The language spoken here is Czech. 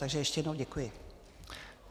Takže ještě jednou děkuji.